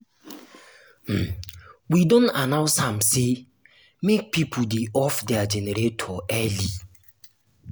um we don announce am sey make pipo um dey off their generator early.